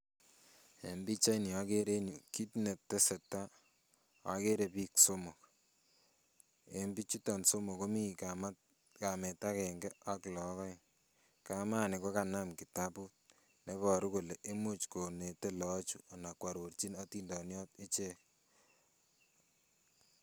En pichaini akere en yu kit netesei akere biik somok, bichuto somok komii kamet akenge ak look aeng kamani kokanam kitabut neiboru kole imuch konete loochu anan kwororchin atindoniot ichek.